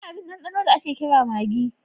Akwai abin ɗanɗano da ake kira maggi.